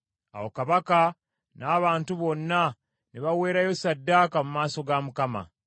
Awo kabaka n’abantu bonna, ne baweerayo ssaddaaka mu maaso ga Mukama .